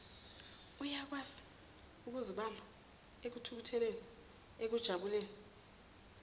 uyakwaziukuzibamba ekuthukutheleni ekujabuleni